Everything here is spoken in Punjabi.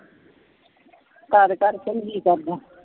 ਘਰ ਘਰ ਚੰਗੀ ਕਰਦਾ।